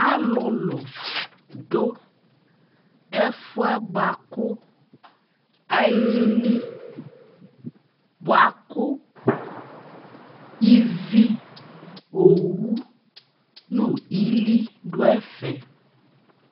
Alulu du ɛfuɛ bua ku alili, buaku ivi, owu nu ili du ɛfɛ